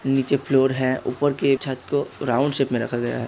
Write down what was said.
नीचे फ्लोर है। ऊपर की छत को राउंड शिफ़्ट मे रखा गया है।